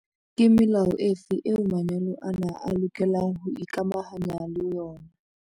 Vuk- Ke melao efe eo manyalo ana a lokelang ho ikamahanya le yona?